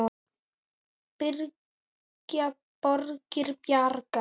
Byggja borgir bragga?